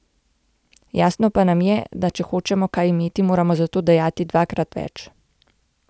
Jasno pa nam je, da če hočemo kaj imeti, moramo za to dajati dvakrat več.